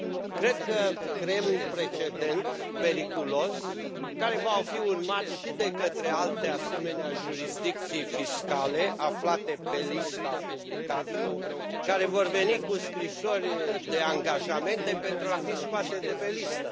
Cred că creăm un precedent periculos, care va fi urmat și de către alte asemenea jurisdicții fiscale aflate pe lista publicată, care vor veni cu scrisori de angajamente pentru a fi scoase de pe listă.